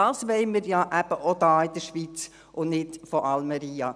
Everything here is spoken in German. Dies wollen wir eben auch hier in der Schweiz tun und nicht in Almería.